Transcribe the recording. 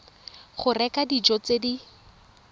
go reka dijo tse di